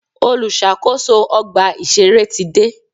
Olùṣàkóso ọgbà ìṣẹ̀rẹ́ ti dé.